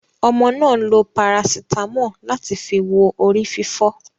Ọmọ náà lo parasitamọ́ọ̀ láti fi wo orí fífọ́.